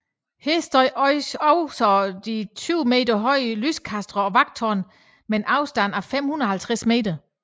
Her stod også de 20 meter høje lyskastere og vagttårnene med en afstand af 550 meter